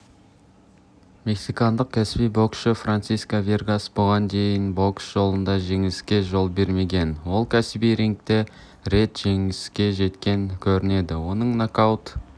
мексикандық кәсіби боксшы франсиско варгас бұған дейін бокс жолында жеңіліске жол бермеген ол кәсіби рингте рет жеңіске жеткен көрінеді оның нокаут